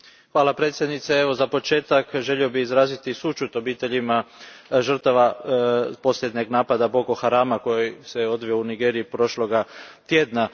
Gospođo predsjednice, za početak želio bih izraziti sućut obiteljima žrtava posljednjeg napada Boko Harama koji se odvio u Nigeriji prošlog tjedna.